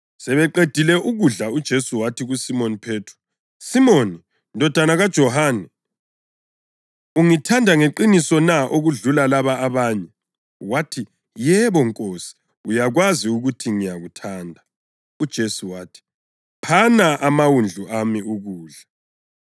Sebeqedile ukudla, uJesu wathi kuSimoni Phethro, “Simoni, ndodana kaJohane, ungithanda ngeqiniso na okudlula laba abanye?” Wathi, “Yebo, Nkosi, uyakwazi ukuthi ngiyakuthanda.” UJesu wathi, “Phana amawundlu ami ukudla.”